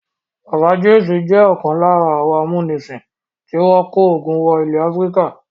Bàbá James jẹ́ ọ̀kan lára àwọn amúnisìn tí wọ́n kó ogun wọ ilẹ̀ Áfíríkà.